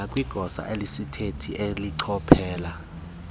nakwigosa elisisithethi elichophela